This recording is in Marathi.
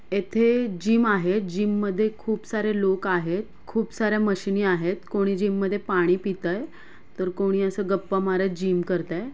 येथे जिम आहे जिम मधे खुप सारे लोक आहेत खुप सा-या मशिनी आहेत कोणी जिममध्ये पाणि पितय तर कोणी अस गप्पा मारत जिम करतय.